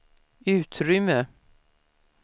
utrymme